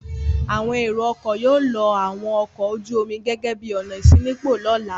Àwọn ẹ̀rọ-ọkọ̀ yóò lo àwọn ọkọ̀ ojú-omi gẹ́gẹ́ bí ọ̀nà ìṣínípò lọ́la.